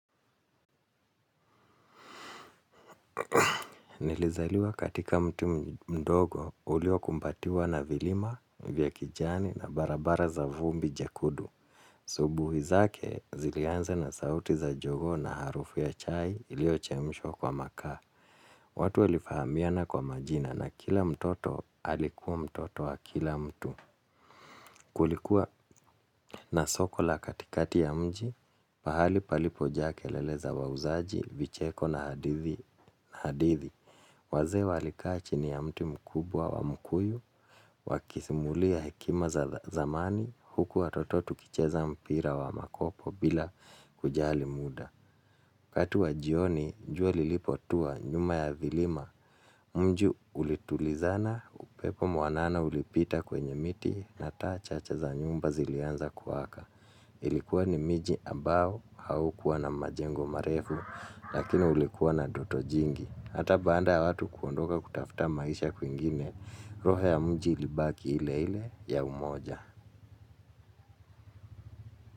Nilizaliwa katika mtaa mdogo uliokumbatiwa na vilima vya kijani na barabara za vumbi jekundu asubuhi zake ziliana na sauti za jogoo na harufu ya chai iliyochemshwa kwa makaa. Watu walifahamiana kwa majina na kila mtoto alikuwa mtoto wa kila mtu. Kulikuwa na soko la katikati ya mji. Pahali palipojaa kelele za wauzaji, vicheko na hadithi. Na hadithi, wazee walikaa chini ya mti mkubwa wa mkuyu, wakisimulia hekima za zamani, huku watoto tukicheza mpira wa makopo bila kujali muda. Wakati wa jioni, jua lilipotua nyuma ya vilima, mji ulitulizana, upepo mwanana ulipita kwenye miti, na taa chacha za nyumba zilianza kuwaka. Ilikuwa ni miji ambao haukuwa na majengo marefu lakini ulikuwa na joto jingi. Hata baada watu kuondoka kutafuta maisha kwingine roho ya mji ilibaki ile ile ya umoja.